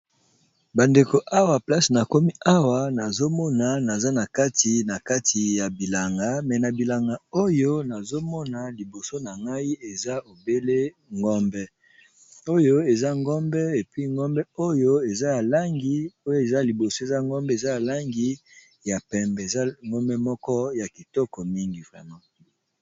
bandeko awa place na komi haua nazomona naza na kati na kati ya bilanga me na bilanga oyo nazomona liboso na ngai eza ebele ngombeoyo eza gombe epi ngombe oyo eza yalangi oyo eza liboso eza ngombe eza ya langi ya pembe eza ngombe moko ya kitoko mingi vraime